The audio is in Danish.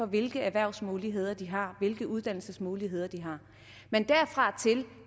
hvilke erhvervsmuligheder de har hvilke uddannelsesmuligheder de har men